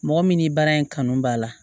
Mɔgɔ min ni baara in kanu b'a la